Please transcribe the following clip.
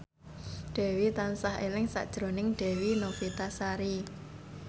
Dewi tansah eling sakjroning Dewi Novitasari